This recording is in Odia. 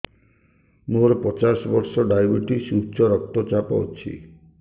ମୋର ପଚାଶ ବର୍ଷ ଡାଏବେଟିସ ଉଚ୍ଚ ରକ୍ତ ଚାପ ଅଛି